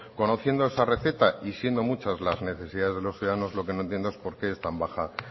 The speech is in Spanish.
conociendo esa receta y siendo muchas las necesidades de los ciudadanos lo que no entiendo es por qué es tan baja